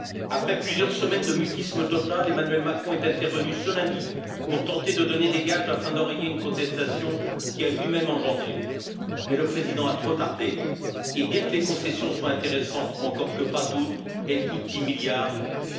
Après plusieurs semaines de mutisme total, Emmanuel Macron est intervenu ce lundi pour tenter de donner des gages afin d'enrayer une contestation qu'il a lui même engendrée, mais le président a trop tardé et, bien que les concessions soient intéressantes, encore qu'elles ne le soient pas toutes, elles coûtent 10 milliards d'euros.